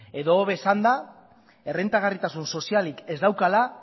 edo hobe esanda errentagarritasun sozialik ez daukala